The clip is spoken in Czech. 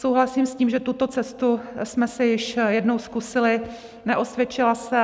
Souhlasím s tím, že tuto cestu jsme si již jednou zkusili, neosvědčila se.